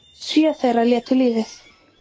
Sjö þeirra létu lífið